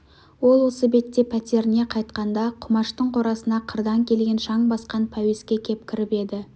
ол осы бетте пәтеріне қайтқанда құмаштың қорасына қырдан келген шаң басқан пәуеске кеп кіріп еді